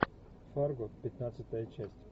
фарго пятнадцатая часть